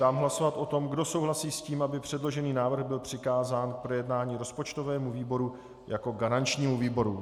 Dám hlasovat o tom, kdo souhlasí s tím, aby předložený návrh byl přikázán k projednání rozpočtovému výboru jako garančnímu výboru.